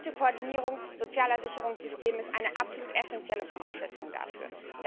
Eine gute Koordinierung sozialer Sicherungssysteme ist eine absolut essenzielle Voraussetzung dafür.